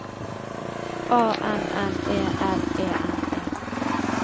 A N N E L E N E